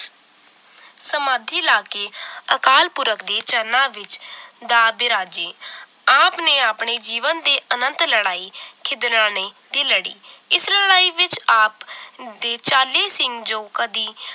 ਸਮਾਧੀ ਲਾ ਕੇ ਅਕਾਲ ਪੁਰਖ ਦੇ ਚਰਨਾਂ ਵਿਚ ਜਾ ਵਿਰਾਜੇ ਆਪ ਨੇ ਆਪਣੇ ਜੀਵਨ ਦੇ ਅਨੰਤ ਲੜਾਈ ਖਿਦਰਾਣੇ ਦੀ ਲੜੀ ਇਸ ਲੜਾਈ ਵਿਚ ਆਪ ਦੇ ਚਾਲੀ ਸਿੰਘ ਜੋ ਕਦੀ